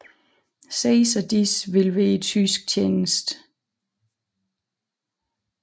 Seks af disse vil være i tysk tjeneste